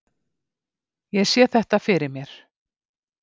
Ég sé þetta fyrir mér.